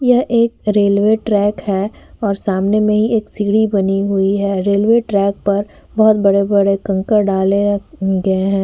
ये एक railway track है और सामने में ही एक सीढ़ी बनी हुई है रेलवे ट्रैक पर बहुत बड़े-बड़े कंकड़ डाले गए है।